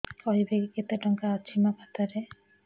କହିବେକି କେତେ ଟଙ୍କା ଅଛି ମୋ ଖାତା ରେ